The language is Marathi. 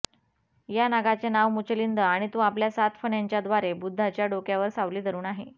या नागाचे नाव मुचलिंद आणि तो आपल्या सात फण्यांच्याद्वारे बुद्धाच्या डोक्यावर सावली धरून आहे